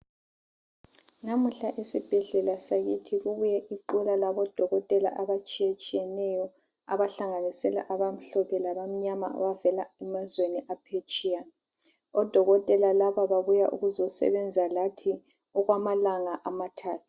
Namuhla esibhedlela sakithi kubuye iqula labodokotela abatshiyetshiyeneyo abahlanganisela abamhlophe labamnyama abavela emazweni aphetsheya. Odokotela laba babuye ukuzosebenza lathi okwamalanga amathathu.